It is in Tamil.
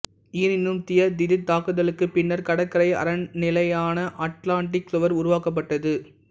எனினும் டியப் திடீர்த்தாக்குதலுக்குப் பின்னர் கடற்கரை அரண்நிலையான அட்லாண்டிக் சுவர் உருவாக்கப்பட்டது